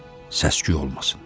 Səsküy olmasın.